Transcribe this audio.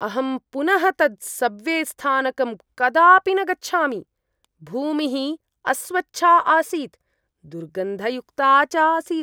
अहं पुनः तत् सब्वे स्थानकं कदापि न गच्छामि। भूमिः अस्वच्छा आसीत्, दुर्गन्धयुक्ता च आसीत्।